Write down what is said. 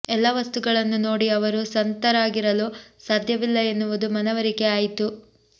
ಎಲ್ಲ ವಸ್ತುಗಳನ್ನು ನೋಡಿ ಅವರು ಸಂತರಾಗಿರಲು ಸಾಧ್ಯವಿಲ್ಲ ಎನ್ನುವುದು ಮನವರಿಕೆ ಆಯಿತು